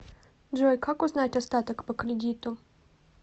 джой как узнать остаток по кредиту